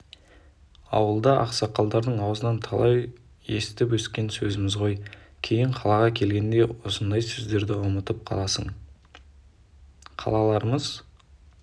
ауылда ақсақалдардың аузынан талай естіп өскен сөзіміз ғой кейін қалаға келгенде осындай сөздерді ұмытып қаласың қалаларымыз